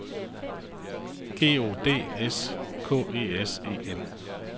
G O D S K E S E N